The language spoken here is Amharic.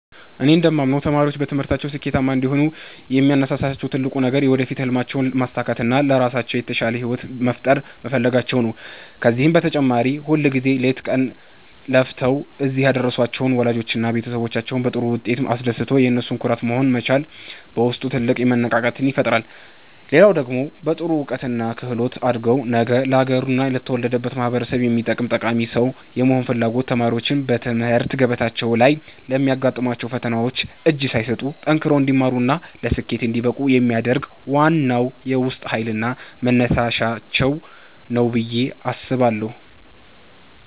እኔ እንደማምነው ተማሪዎች በትምህርታቸው ስኬታማ እንዲሆኑ የሚያነሳሳቸው ትልቁ ነገር የወደፊት ሕልማቸውን ማሳካትና ለራሳቸው የተሻለ ሕይወት መፍጠር መፈለጋቸው ነው። ከዚህም በተጨማሪ ሁልጊዜ ሌት ከቀን ለፍተው እዚህ ያደረሷቸውን ወላጆቻቸውንና ቤተሰቦቻቸውን በጥሩ ውጤት አስደስቶ የነሱ ኩራት መሆን መቻል በውስጥ ትልቅ መነቃቃትን ይፈጥራል። ሌላው ደግሞ በጥሩ እውቀትና ክህሎት አድጎ ነገ ለአገርና ለተወለዱበት ማኅበረሰብ የሚጠቅም ጠቃሚ ሰው የመሆን ፍላጎት ተማሪዎች በትምህርት ገበታቸው ላይ ለሚያጋጥሟቸው ፈተናዎች እጅ ሳይሰጡ ጠንክረው እንዲማሩና ለስኬት እንዲበቁ የሚያደርግ ዋናው የውስጥ ኃይልና መነሳሻቸው ነው ብዬ አስባለሁ።